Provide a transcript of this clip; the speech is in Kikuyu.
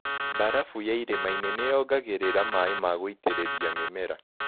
Barafu ya irĩmainĩ nĩyongagĩrira maĩ ma gũĩtĩrĩria mĩmera.